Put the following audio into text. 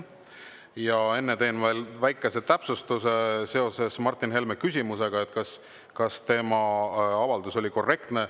Ja enne teen veel väikese täpsustuse seoses Martin Helme küsimusega, kas tema avaldus oli korrektne.